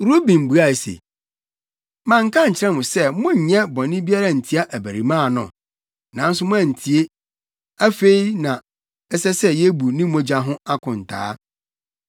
Ruben buae se, “Manka ankyerɛ mo sɛ monnyɛ bɔne biara ntia abarimaa no? Nanso moantie! Afei na ɛsɛ sɛ yebu ne mogya ho akontaa”